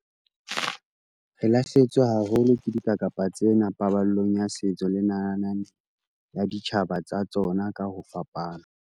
Re lahlehetswe haholo ke dikakapa tsena paballong ya setso le nalane ya ditjhaba tsa tsona ka ho fapana.